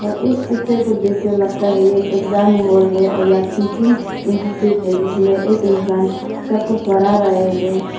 इस पिक्चर को देखकर लगता है ये एक एग्जाम हाल है और या टीचिंग इंस्टीट्यूट है जिसमें एक इंसान सबको पढ़ा रहा है।